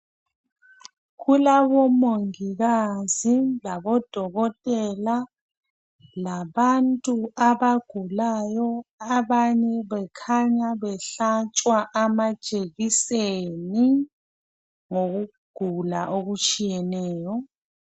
Kulabomongikazi, labodokotela, labantu abagulayo. Abanye bekhanya behlatshwa amajekiseni, ngokugula okutshiyeneyo.